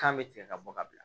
Kan bɛ tigɛ ka bɔ ka bila